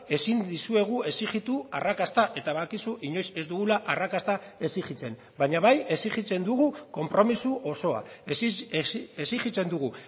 ezin dizuegu exijitu arrakasta eta badakizu inoiz ez dugula arrakasta exijitzen baina bai exijitzen dugu konpromiso osoa exijitzen dugu